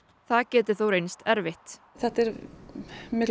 það geti þó reynst erfitt þetta er